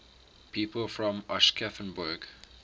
people from aschaffenburg